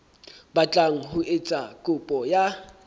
batlang ho etsa kopo ya